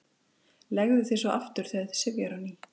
Leggðu þig svo aftur þegar þig syfjar á ný.